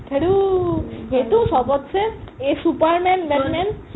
সেইটো চবচে superman batman